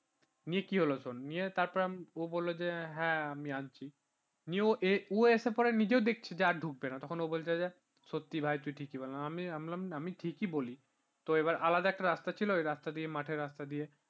নিয়ে কি হল শুন তারপর ও বলল যে হ্যাঁ আমি আনছি নিয়েও এসে পড়ে নিজেও দেখছে আর ঢুকবে না তখন ও বলছে যে সত্যি ভাই তুই ঠিকই বললি আমি বললাম আমি ঠিকই বলি। তো এবার আলাদা একটা রাস্তা ছিল তো ওই রাস্তা দিয়ে মাঠের রাস্তা দিয়ে